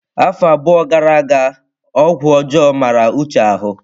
Afọ abụọ gara aga ọgwụ ọjọọ mara Uche ahụ.